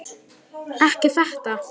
Ekki þetta!